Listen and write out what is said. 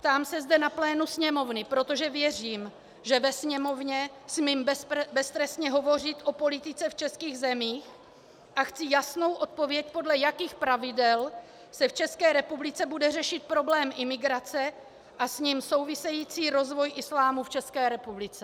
Ptám se zde na plénu Sněmovny, protože věřím, že ve Sněmovně smím beztrestně hovořit o politice v českých zemích, a chci jasnou odpověď, podle jakých pravidel se v České republice bude řešit problém imigrace a s ním související rozvoj islámu v České republice.